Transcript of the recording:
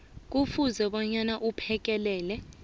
kufuze bona aphekelele